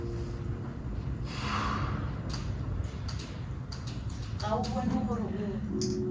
ga o bone gore o